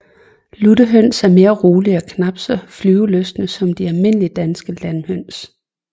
Luttehøns er mere rolige og knap så flyvelystne som de almindelige danske landhøns